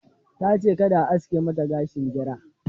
Ta ce ka da a aske mata gashin gira.